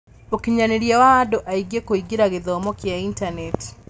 ũkinyanĩria wa andũ aingĩ kũingĩra gĩthomo kĩa intaneti.